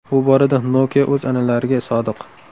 Bu borada Nokia o‘z an’analariga sodiq.